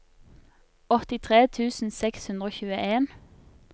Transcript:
åttitre tusen seks hundre og tjueen